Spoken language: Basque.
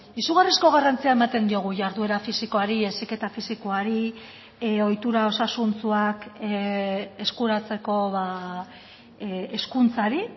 izugarrizko garrantzia ematen diogu jarduera fisikoari heziketa fisikoari ohitura osasuntsuak eskuratzeko hezkuntzari